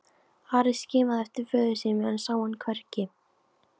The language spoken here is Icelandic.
Ari skimaði eftir föður sínum en sá hann hvergi.